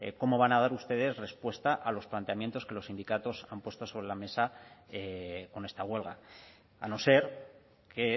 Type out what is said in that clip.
cómo van a dar ustedes respuesta a los planteamientos que los sindicatos han puesto sobre la mesa con esta huelga a no ser que he